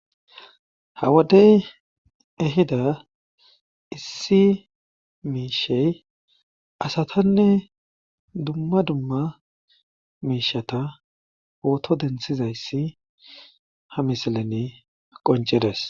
Hawadey ehida issi miishey asatanne dumma dumma miishata ooto denthizayssi ha misalane qoncedes